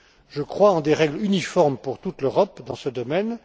Je crois en des règles uniformes pour toute l'Europe dans ce domaine.